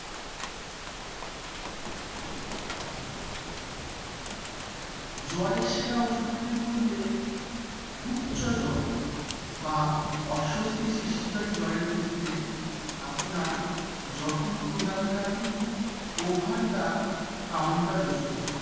জ্বর সেরা ওষুধ গুলি বলতে উচ্চ জ্বর বা অস্বস্তি সৃষ্টিকারী জ্বরের ক্ষেত্রে, আপনার যত্ন প্রদানকারী over the counter ওষুধ